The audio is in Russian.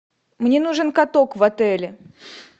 мне нужен каток в отеле